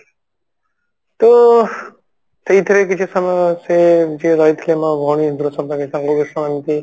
ତୋ ସେଇଥିରେ କିଛି ସମୟ ସେ ଯିଏ ରହିଥିଲେ ମୋ ଭଉଣୀ